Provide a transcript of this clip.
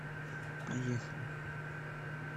поехали